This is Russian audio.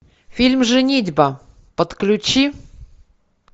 фильм женитьба подключи